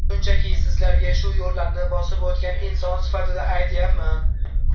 Shunchaki, sizlarga shu yo‘llarni bosib o‘tgan inson sifatida aytyapman.